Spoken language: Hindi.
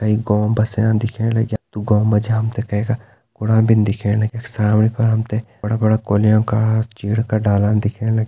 एक गौ बस्याँ दिखेण लग्या तु गौ मा जी हमथे कैका कुड़ा बिन दिखेण लग्या सामणी फर हमते बड़ा-बड़ा कोल्या का चीड़ का डालान दिखेण लग्या।